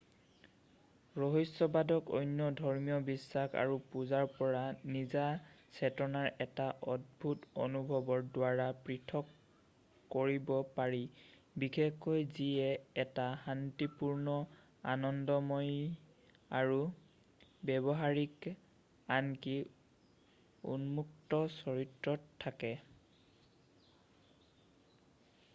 ৰহস্যবাদক অন্য ধৰ্মীয় বিশ্বাস আৰু পূজাৰ পৰা নিজা চেতনাৰ এটা অদ্ভুত অনুভৱৰ দ্বাৰা, পৃথক কৰিব পাৰি বিশেষকৈ যিয়ে এটা শান্তিপূৰ্ণ আনন্দময়ী আৰু ব্যৱহাৰিক আনকি উন্মত্ত চৰিত্ৰত থাকে।